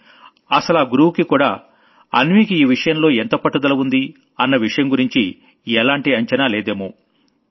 కానీ అసలా కోచ్ కి కూడా అసలు అన్వీకి ఈ విషయంలో ఎంత పట్టుదల ఉంది అన్న విషయం గురించి ఎలాంటి అంచనా లేదేమో